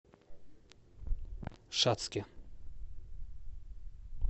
шацке